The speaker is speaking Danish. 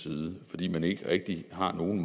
side fordi man ikke rigtig har nogen